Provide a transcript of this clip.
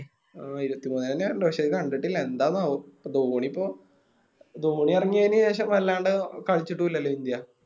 ആ ഇരുപത്തിമൂന്നന്നെയ വരണ്ടെ പക്ഷെ കണ്ടിട്ടില്ല എന്താണാവോ ധോണിയിപ്പോ ധോണി എറങ്ങിയെന് ശേഷം വല്ലാണ്ട് കളിച്ചിട്ടു ഇല്ലാലോ ഇന്ത്യ